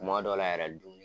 Kuma dɔ la yɛrɛ dun